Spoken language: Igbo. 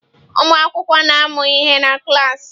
Ụmụ akwụkwọ na-amụ ihe na klas.